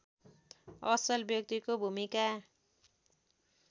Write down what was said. असल व्यक्तिको भूमिका